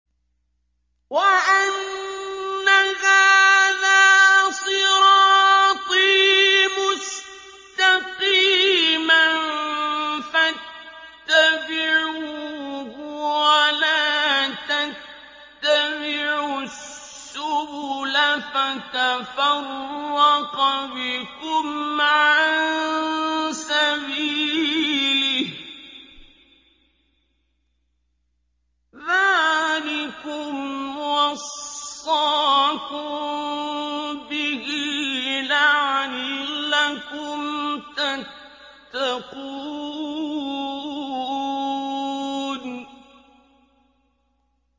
وَأَنَّ هَٰذَا صِرَاطِي مُسْتَقِيمًا فَاتَّبِعُوهُ ۖ وَلَا تَتَّبِعُوا السُّبُلَ فَتَفَرَّقَ بِكُمْ عَن سَبِيلِهِ ۚ ذَٰلِكُمْ وَصَّاكُم بِهِ لَعَلَّكُمْ تَتَّقُونَ